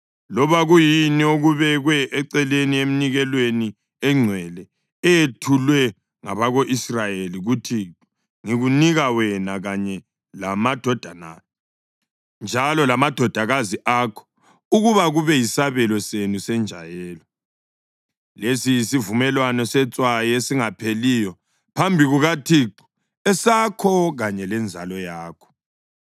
Loba kuyini okubekwe eceleni eminikelweni engcwele eyethulwe ngabako-Israyeli kuThixo ngikunika wena kanye lamadodana njalo lamadodakazi akho ukuba kube yisabelo senu senjayelo. Lesi yisivumelwano setswayi esingapheliyo phambi kukaThixo, esakho kanye lenzalo yakho.”